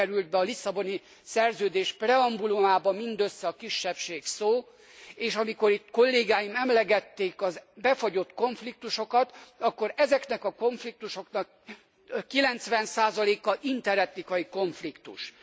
Most került be a Lisszaboni Szerződés preambulumába mindössze a kisebbség szó, és amikor itt kollégáim emlegették a befagyott konfliktusokat, akkor ezeknek a konfliktusoknak 90 a interetnikai konfliktus.